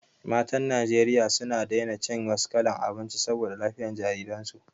Matan Najeriya suna daina cin wasu kalan abinci saboda lafiyan jariran su